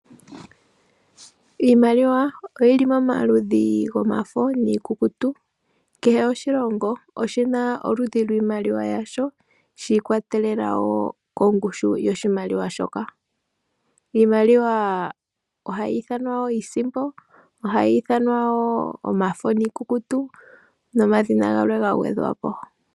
Iimaliwa oyili momaludhi gomafo niikukutu. Kehe oshilongo oshi na iimaliwa yoludhi lwasho shiikwatelela wo kongushu yoshimaliwa shoka. Iimaliwa ohayi ithanwa wo iisimpo, ohayi ithanwa wo omafo niikukutu nomadhina galwe ga gwedhwa po.